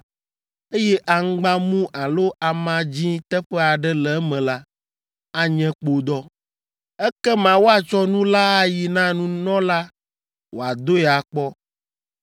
eye aŋgbamu alo ama dzĩ teƒe aɖe le eme la, anye kpodɔ. Ekema woatsɔ nu la ayi na nunɔla wòadoe akpɔ.